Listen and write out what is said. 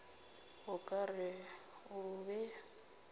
o ka re o be